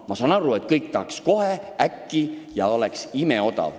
Ma saan aru, et kõik tahaks, et alkohol oleks imeodav.